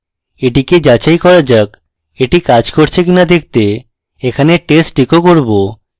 এটিকে যাচাই করা যাক এটি কাজ করছে কিনা দেখতে এখানে test echo করব